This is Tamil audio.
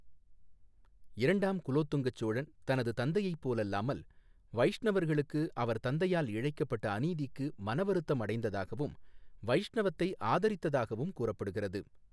இரண்டாம் குலோத்துங்கச் சோழன், தனது தந்தையைப் போலல்லாமல், வைஷ்ணவர்களுக்கு அவர் தந்தையால் இழைக்கப்பட்ட அநீதிக்கு மனவருத்தம் அடைந்ததாகவும், வைஷ்ணவத்தை ஆதரித்ததாகவும் கூறப்படுகிறது.